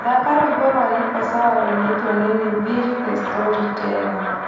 thaaka rwĩmbo rwa niko sawa rũinitwo nĩ nviiri the storyteller